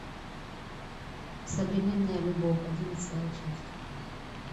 современная любовь одиннадцатая часть